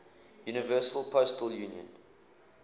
universal postal union